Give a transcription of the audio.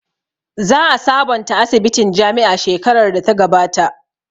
Za a sabonta asibitin jami'a shekarar da ta gabata